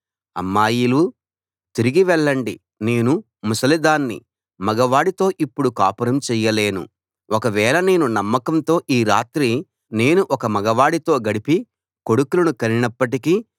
అమ్మాయిలూ తిరిగి వెళ్ళండి నేను ముసలిదాన్ని మగ వాడితో ఇప్పుడు కాపురం చెయ్యలేను ఒక వేళ నేను నమ్మకంతో ఈ రాత్రి నేను ఒక మగ వాడితో గడిపి కొడుకులను కనినప్పటికీ